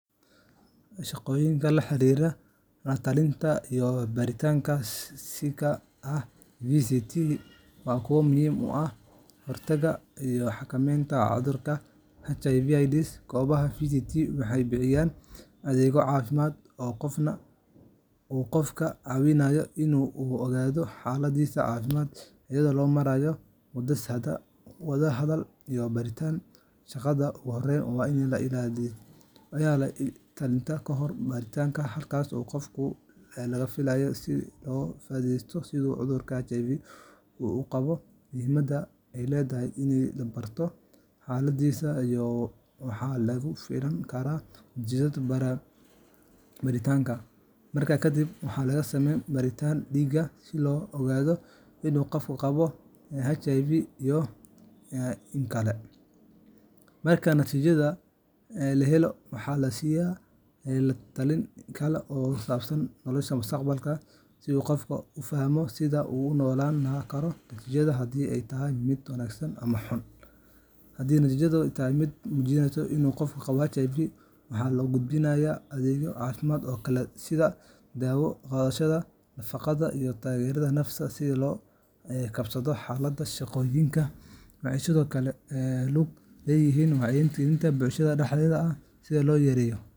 Shaqooyinka la xiriira la-talinta iyo baaritaanka siika ah VCT) waa kuwo muhiim u ah ka hortagga iyo xakamaynta cudurka HIV/AIDSka. Goobaha VCTga waxay bixiyaan adeegyo caafimaad oo qofka ka caawinaya in uu ogaado xaaladdiisa caafimaad, iyadoo loo marayo wada-hadal iyo baaritaan. Shaqada ugu horreysa waa la-talinta ka hor baaritaanka, halkaas oo qofka lala fariisto si loo fahamsiiyo sida cudurka HIV u gudbo, muhiimadda ay leedahay in la barto xaaladdiisa, iyo waxa laga filan karo natiijada baaritaanka. Markaas kadib, waxaa la sameeyaa baaritaanka dhiigga si loo ogaado in qofku qabo HIV iyo in kale. Marka natiijada la helo, waxaa la siiyaa la-talin kale oo ku saabsan nolosha mustaqbalka, si qofku u fahmo sida uu ula noolaan karo natiijada, haddii ay tahay mid wanaagsan ama xun. Haddii natiijadu tahay mid muujinaysa inuu qofku qabo HIVga, waxaa loo gudbiyaa adeegyo caafimaad oo kale sida daawo qaadashada, nafaqada, iyo taageero nafsi ah si uu ula qabsado xaaladda. Shaqooyinkani waxay sidoo kale ku lug leeyihiin wacyigelin bulshada dhexdeeda ah, si loo yareeyo .